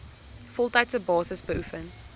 voltydse basis beoefen